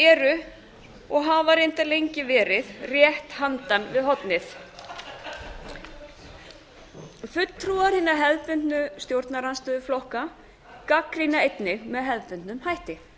sem eru og hafa reyndar lengi verið rétt handan við hornið fulltrúar hinna hefðbundnu stjórnarandstöðuflokka gagnrýna einnig með hefðbundnum hætti